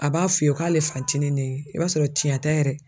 A b'a f'i ye k'ale fantinin ni i b'a sɔrɔ tiɲɛn tɛ yɛrɛ.